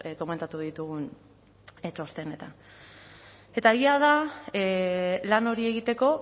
komentatu ditugun txostenetan eta egia da lan hori egiteko